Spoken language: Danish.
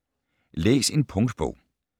Læs en punktbog